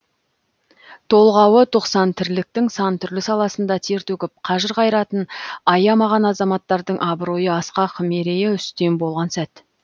толғауы тоқсан тірліктің сан түрлі саласында тер төгіп қажыр қайратын аямаған азаматтардың абыройы асқақ мерейі үстем болған сәт